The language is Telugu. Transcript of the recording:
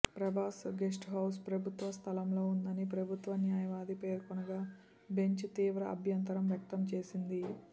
ప్రభాస్ గెస్టుహౌస్ ప్రభుత్వ స్థలంలో ఉందని ప్రభుత్వ న్యాయవాది పేర్కొనగా బెంచ్ తీవ్ర అభ్యంతం వ్యక్తం చేసింది